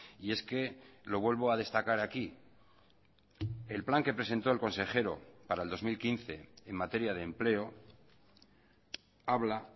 y es que lo vuelvo a destacar aquí el plan que presentó el consejero para el dos mil quince en materia de empleo habla